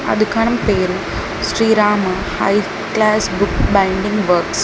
ఆ దుకాణం పేరు Srirama high class book binding works .